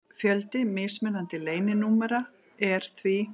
Fjöldi mismunandi leyninúmera er því: